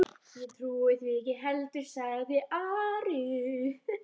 Ég trúi því ekki heldur, sagði Ari.